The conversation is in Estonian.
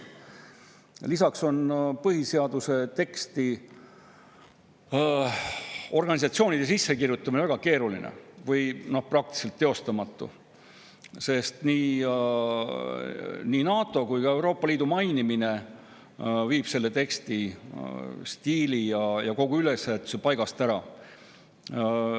Lisaks on põhiseaduse teksti organisatsioone sisse kirjutada väga keeruline või see on praktiliselt teostamatu, sest NATO või Euroopa Liidu mainimine selle teksti stiili ja kogu ülesehituse paigast ära.